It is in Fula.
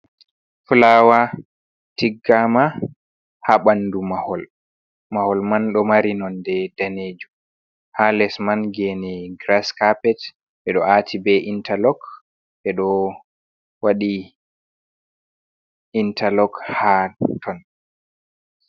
Fulawa tiggama ha ɓandu mahol, mahol man ɗo mari nonde danejum ha les man gene grass carpet ɓeɗo ati be interlok ɓeɗo wadi interlok ha ton.